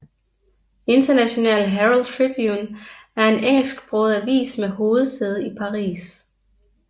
International Herald Tribune er en engelsksproget avis med hovedsæde i Paris